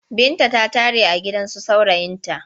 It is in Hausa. Binta ta tare a gidansu saurayinta.